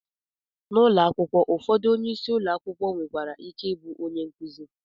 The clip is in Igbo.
N'ụlọ akwụkwọ ụfọdụ, onyeisi ụlọ akwụkwọ nwekwara ike ịbụ onye nkuzi